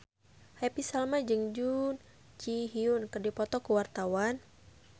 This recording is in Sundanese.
Happy Salma jeung Jun Ji Hyun keur dipoto ku wartawan